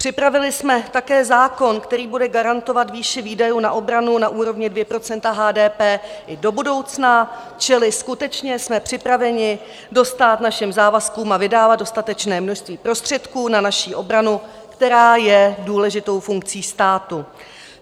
Připravili jsme také zákon, který bude garantovat výši výdajů na obranu na úrovni 2 % HDP i do budoucna, čili skutečně jsme připraveni dostát našim závazkům a vydávat dostatečné množství prostředků na naši obranu, která je důležitou funkcí státu.